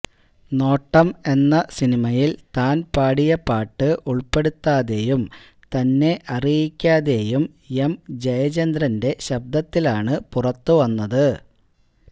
നോട്ടം എന്ന സിനിമയിൽ താൻ പാടിയ പാട്ട് ഉൾപ്പെടുത്താതെയും തന്നെ അറിയിക്കാതെയും എം ജയചന്ദ്രന്റെ ശബ്ദത്തിലാണ് പുറത്തു വന്നത്